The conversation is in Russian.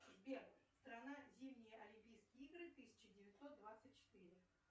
сбер страна зимние олимпийские игры тысяча девятьсот двадцать четыре